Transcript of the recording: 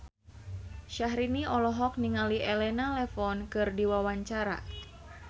Syahrini olohok ningali Elena Levon keur diwawancara